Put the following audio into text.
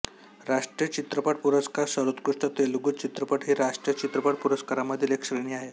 राष्ट्रीय चित्रपट पुरस्कार सर्वोत्कृष्ट तेलुगू चित्रपट हि राष्ट्रीय चित्रपट पुरस्कारांमधील एक श्रेणी आहे